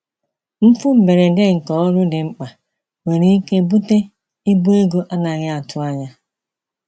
Mfu mberede nke ọrụ dị mkpa nwere ike bute ibu ego a naghị atụ anya.